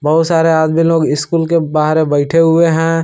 बहोत सारे आदमी लोग स्कूल के बाहर बैठे हुए हैं।